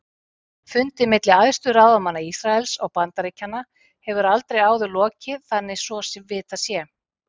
Fundi milli æðstu ráðamanna Ísraels og Bandaríkjanna hefur aldrei áður lokið þannig svo vitað sé.